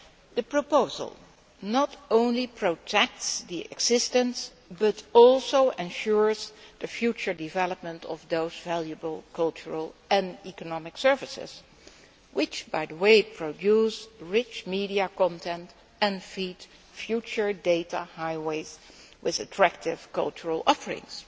The proposal not only protects the existence, but also ensures the future development, of those valuable cultural and economic services which, by the way, produce rich media content and feed future data highways with attractive cultural offerings.